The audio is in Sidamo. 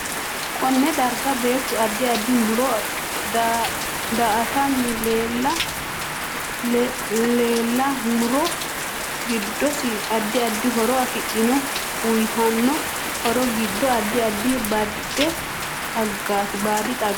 Konne darga beetu addi addi muro daatanni leela muro giddose addi addi horo afidhino uyiitanno horo giddo addi addi baadi xaagaati